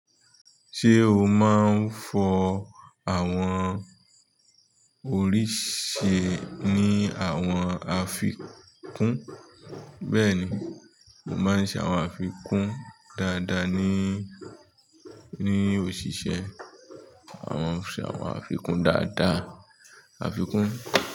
Ṣe o máa n fọ àwọn orísìí ní àwọn àfikún. Bẹ́ẹ̀ni, mo máa ń ṣe àwọn àfikún dáadáa ní òṣìṣẹ́. Àma n ṣe àwọn àfikún dáadáa.